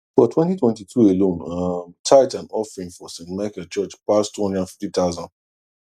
for 2022 alone um tithe and offering for st michael church pass two hundred and fifty thousand